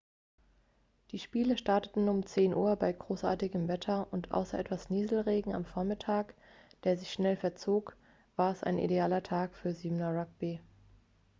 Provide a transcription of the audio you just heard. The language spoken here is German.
die spiele starteten um 10:00 uhr bei großartigem wetter und außer etwas nieselregen am vormittag der sich schnell verzog war es ein idealer tag für 7er-rugby